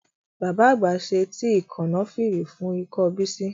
Bàbá àgbà ṣe tíì Kànáfìrì fún ikọ́ Bísí